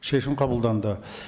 шешім қабылданды